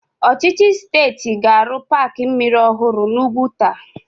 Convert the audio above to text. Ọchịchị steeti ga-arụ paaki mmiri ọhụrụ n'Úgwùtà.